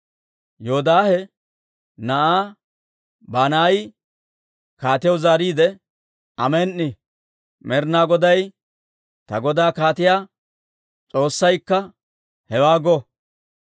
Yoodaahe na'aa Banaayi kaatiyaw zaariide, «Amen"i! Med'inaa Goday, ta godaa kaatiyaa S'oossaykka hewaa go!